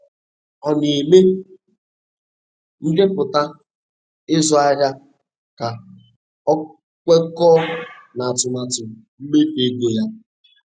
Ọ na-eme ndepụta ịzụ ahịa ka ọ kwekọọ n'atụmatụ mmefu ego ya